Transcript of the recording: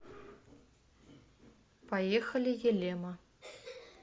поехали елема